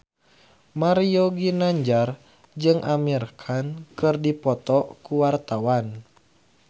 Mario Ginanjar jeung Amir Khan keur dipoto ku wartawan